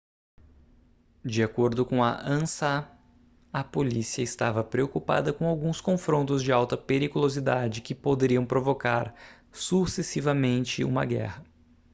de acordo com a ansa a polícia estava preocupada com alguns confrontos de alta periculosidade que poderiam provocar sucessivamente uma guerra